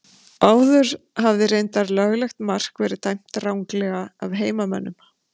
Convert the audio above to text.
Áður hafði reyndar löglegt mark verið dæmt ranglega af heimamönnum.